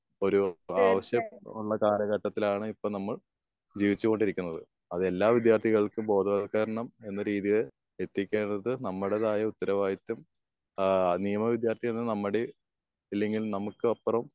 ഒരു ആവശ്യം ഉള്ള കാല ഘട്ടത്തിലാണ് ഇപ്പോൾ നമ്മൾ ജീവിച്ചു കൊണ്ടിരിക്കുന്നത്. അതെല്ലാ വിദ്യാർത്ഥികൾക്കും ബോധ വൽക്കരണം എന്ന രീതിയിൽ എത്തിക്കേണ്ടത് നമ്മളുടേതായുള്ള ഉത്തരവാദിത്വം ഏഹ് നിയമ വിദ്യാർത്ഥി എന്ന് നമ്മുടേം ഇല്ലെങ്കിൽ നമുക്ക് അപ്പുറം